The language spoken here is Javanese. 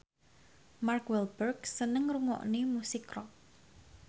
Mark Walberg seneng ngrungokne musik rock